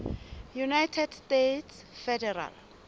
united states federal